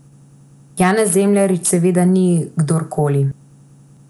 Janez Zemljarič seveda ni kdorkoli.